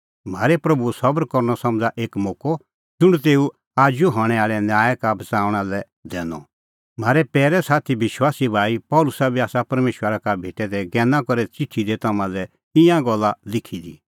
म्हारै प्रभूओ सबर करनअ समझ़ा एक मोक्कअ ज़ुंण तेऊ आजू हणैं आल़ै न्याय का बच़णा लै दैनअ म्हारै पैरै संघी विश्वासी भाई पल़सी बी आसा परमेशरा का भेटै दै ज्ञैना करै च़िठी दी तम्हां लै ईंयां ई गल्ला लिखी दी